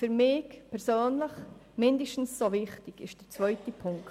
Für mich persönlich mindestens ebenso wichtig ist der zweite Punkt.